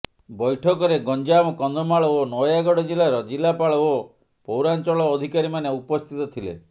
ବୈଠକରେ ଗଞ୍ଜାମ କନ୍ଧମାଳ ଓ ନୟାଗଡ଼ ଜିଲ୍ଲାର ଜିଲ୍ଲାପାଳ ଓ ପୌରାଞ୍ଚଳ ଅଧିକାରୀମାନେ ଉପସ୍ଥିତ ଥିଲେ